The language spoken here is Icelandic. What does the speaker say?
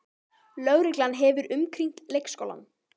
Lögreglan hefur umkringt leikskólann